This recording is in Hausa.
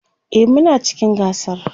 e Muna cikin gasar